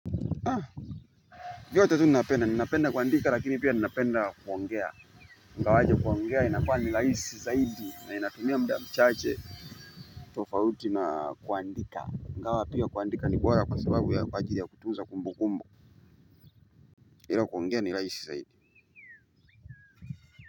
Vyote tu napenda, ninapenda kuandika lakini pia ninapenda kuongea ingawaje kuongea inakua ni rahisi zaidi na inatumia muda mchache. Tofauti na kuandika, ingawa pia kuandika ni bora kwa sababu ya kwa ajili ya kutuza kumbu kumbu ila kuongea ni rahisi zaidi.